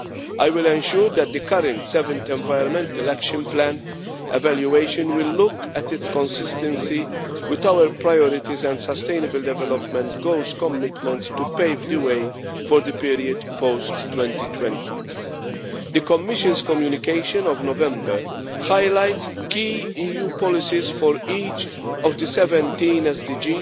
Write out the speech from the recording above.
I will ensure that the current 7th Environmental Action Plan evaluation will look at its consistency with our priorities and sustainable development goals commitments to pave the way for the period post 2020. The Commission's communication of November highlights key EU policies for each of the 17 SDGs,